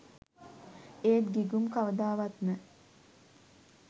ඒත් ගිගුම් කවදාවත්ම